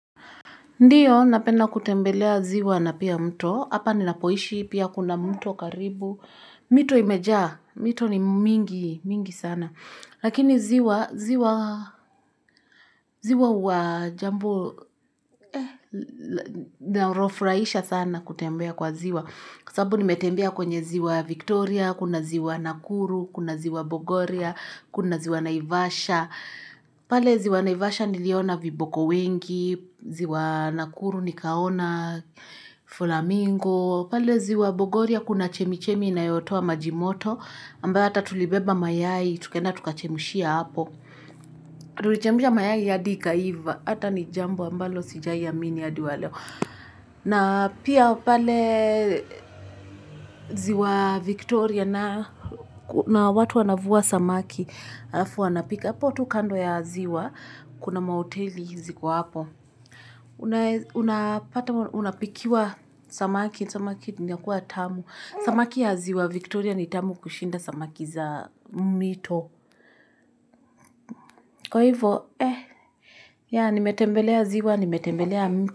Ndiyo, napenda kutembelea ziwa na pia mto. Hapa ninapoishi, pia kuna mto karibu. Mito imejaa, mito ni mingi sana. Lakini ziwa, ziwa huwa jambo linalofurahisha sana kutembea kwa ziwa. Kwa sababu nimetembea kwenye ziwa Victoria, kuna ziwa Nakuru, kuna ziwa Bogoria, kuna ziwa Naivasha. Na pale ziwa naivasha niliona viboko wengi, ziwa nakuru nikaona flamingo, pale ziwa bogoria kuna chemichemi inayotua majimoto, ambayo hata tulibeba mayai, tukaenda tukachemushia hapo. Tulichemusha mayaihadi ikaiva, hata ni jambo ambalo sijai amini hadi waleo. Na pia pale ziwa Victoria na watu wanavua samaki alafu wanapika. Hapo tu kando ya ziwa, kuna mahoteli ziko hapo. Unapikiwa samaki, samaki inakuwa tamu. Samaki ya ziwa Victoria ni tamu kushinda samaki za mito. Kwa hivyo, eh, ya nimetembelea ziwa, nimetembelea mito.